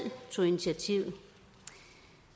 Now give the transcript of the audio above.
tog initiativet